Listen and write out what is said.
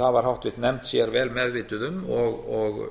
það var háttvirtur nefnd sér vel meðvituð um og